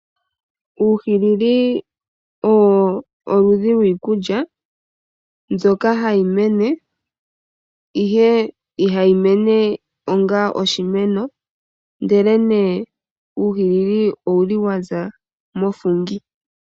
Uuhilili olwo oludhi lwiikulya mboyka hayi mene ihe ihayi mene onga oshimeno ndele nee uuhilili owuli waza moFungi.